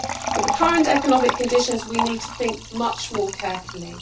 With the current economic conditions, we need to think much more carefully.